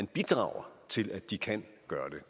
bidrager til at de kan gøre det